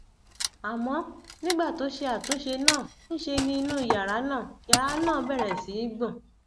àmọ nígbà tó ṣe àtúnṣe náà ńṣe ni inú yàrá náà yàrá náà bẹrẹ sí í gbọn